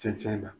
Cɛncɛn na